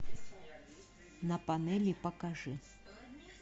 на панели покажи